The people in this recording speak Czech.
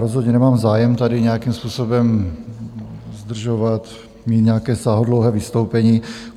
Rozhodně nemám zájem tady nějakým způsobem zdržovat, mít nějaké sáhodlouhé vystoupení.